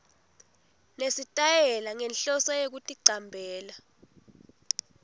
nesitayela ngenhloso yekuticambela